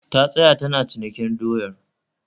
Ta tsaya tana cinikin doyar